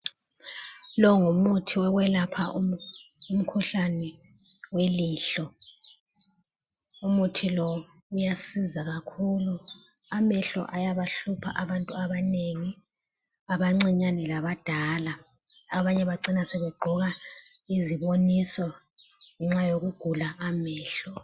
Lo ngumuthi wokwelapha umkhuhlane welihlo. Umuthi lo uyasiza kakhulu amehlo ayabahlupha abantu abanengi abancinyane labadala. Abanye bacina sebegqoka iziboniso ngenxa yokugula amehlo.